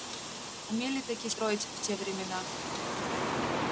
умели-таки строить в те времена